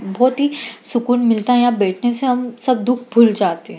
बहुत ही सुकून मिलता है यहां बैठने से हम सब दुख भूल जाते हैं।